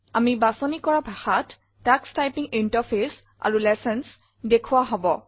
আমি বাচনি কৰা ভাষাত তোষ টাইপিং ইণ্টাৰফেচ আৰু লেচন্স দেখোৱা হব